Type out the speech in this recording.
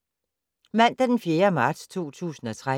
Mandag d. 4. marts 2013